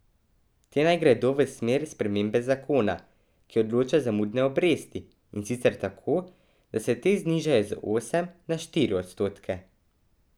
Te naj gredo v smer spremembe zakona, ki določa zamudne obresti, in sicer tako, da se te znižajo z osem na štiri odstotke.